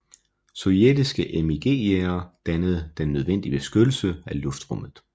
Sovjetiske MiG jagere dannede den nødvendige beskyttelse af luftrummet